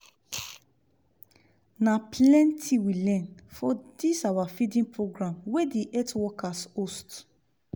na plenti we learn for this our feeding program wey the healt workers host